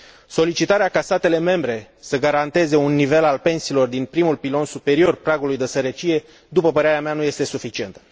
Solicitarea ca statele membre să garanteze un nivel al pensiilor din primul pilon superior pragului de sărăcie, după părerea mea, nu este suficientă.